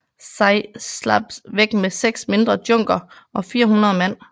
Tsai slap væk med seks mindre djunker og 400 mand